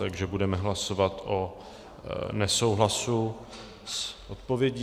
Takže budeme hlasovat o nesouhlasu s odpovědí.